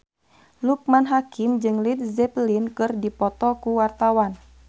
Loekman Hakim jeung Led Zeppelin keur dipoto ku wartawan